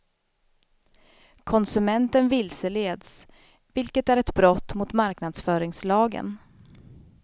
Konsumenten vilseleds, vilket är ett brott mot marknadsföringslagen.